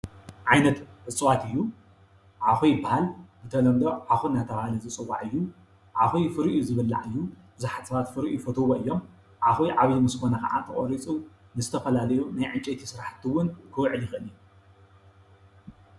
ዓይነት እፅዋት እዩ ዓዂ ይበሃል ብተለምዶ ዓዅ ዳ ተብሃለ ዝይፅዋዕ እዩ ።ዓዅ ፍሪኡ ዝብላዕ እዩ። ቡዝሓት ሰባት ፍሬኡ ይፈትዎ እዮም ።ዓዅ ዓብይ ምስ ኮነ ድማ ተቆሪፁ ንዝተፈላለዩ ናይ ዕንጨቲ ስራሕቲ እውን ክውዕል ይኽእል እዩ።